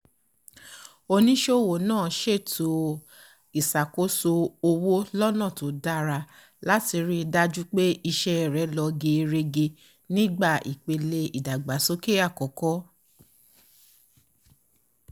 onísòwò náà ṣètò ìṣàkóso owó lọ́nà tó dára láti ri dájú pé iṣẹ́ rẹ̀ lọ gerege nígbà ìpele ìdàgbàsókè àkọ́kọ́